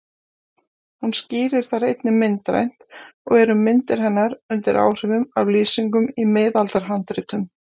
Hún skýrir þær einnig myndrænt og eru myndir hennar undir áhrifum af lýsingum í miðaldahandritum.